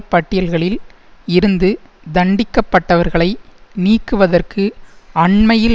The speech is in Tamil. பட்டியல்களில் இருந்து தண்டிக்கப்பட்டவர்களை நீக்குவதற்கு அண்மையில்